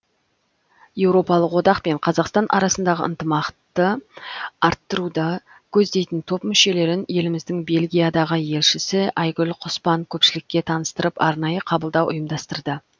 еуропалық одақ пен қазақстан арасындағы ынтымақты арттыруды көздейтін топ мүшелерін еліміздің бельгиядағы елшісі айгүл құспан көпшілікке таныстырып арнайы қабылдау ұйымдастырды